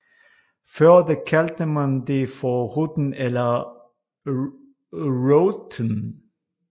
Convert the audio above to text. Før da kaldte man det for Ruten eller Routen